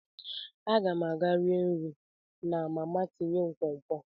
Aga m aga rie nri na mama tinye nkwonkwo.